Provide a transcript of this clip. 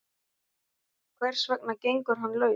Hvers vegna gengur hann laus?